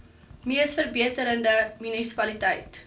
mees verbeterde munisipaliteit